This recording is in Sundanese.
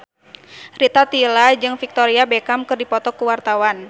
Rita Tila jeung Victoria Beckham keur dipoto ku wartawan